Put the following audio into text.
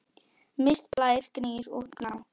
Mist, Blær, Gnýr og Gná.